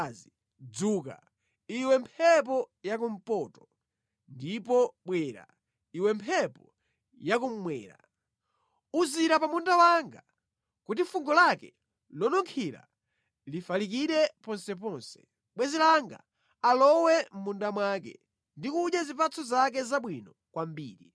Dzuka, iwe mphepo yakumpoto, ndipo bwera, iwe mphepo yakummwera! Uzira pa munda wanga, kuti fungo lake lonunkhira lifalikire ponseponse. Bwenzi langa alowe mʼmunda mwake ndi kudya zipatso zake zabwino kwambiri.